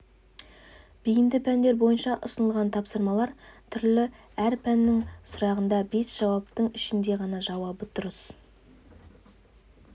бейінді пәндер бойынша ұсынылған тапсырмалар түрлі әр пәннің сұрағында бес жауаптың ішінде ғана жауабы дұрыс